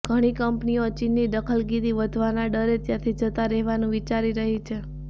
ઘણી કંપનીઓ ચીનની દખલગીરી વધવાના ડરે ત્યાંથી જતાં રહેવાનું વિચારી રહી છે